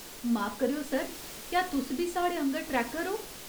माफ करेओ, सर, क्या तुस बी साढ़े आङर ट्रैकर ओ?